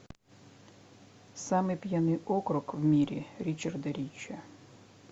самый пьяный округ в мире ричарда ричи